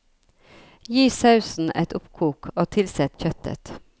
Gi sausen et oppkok og tilsett kjøttet.